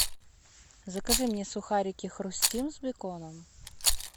закажи мне сухарики хрустим с беконом